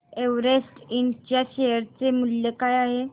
Everest इंड च्या share चे मूल्य काय आहे